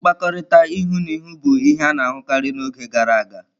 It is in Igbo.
Nkpakọrịta ihu na ihu bụ ihe a na-ahụkarị n'oge gara aga.